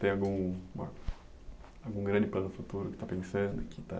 Tem algum grande plano futuro que está pensando?